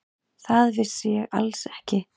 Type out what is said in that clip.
Það vissi ég alls ekki.